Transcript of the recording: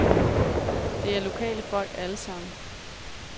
Det er lokale folk alle sammen.